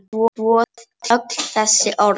Og svo öll þessi orð.